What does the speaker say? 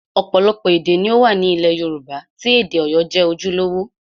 Ọ̀pọ̀lọpọ̀ èdè ni ó wà ní ilẹ̀ Yorùbá tí èdè Ọ̀yọ́ jẹ́ ojúlówó